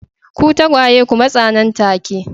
Ku tagwaye ku matsa nan take